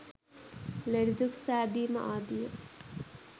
ලෙඩදුක් සෑදීම ආදිය